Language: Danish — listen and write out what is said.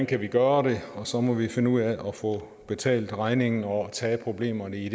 kan gøre det og så må vi finde ud af at få betalt regningen og tage problemerne i